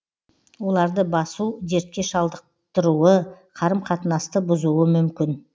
оларды басу дертке шалдықтыруы қарым қатынасты бұзуы мүмкін